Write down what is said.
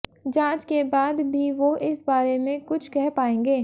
जाँच के बाद भी वो इस बारे में कुछ कह पायेंगे